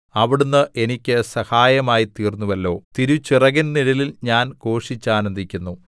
അവിടുന്ന് എനിക്ക് സഹായമായിത്തീർന്നുവല്ലോ തിരുച്ചിറകിൻ നിഴലിൽ ഞാൻ ഘോഷിച്ചാനന്ദിക്കുന്നു